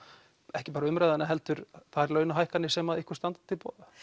ekki bara umræðuna heldur þær launahækkanir sem ykkur standa til boða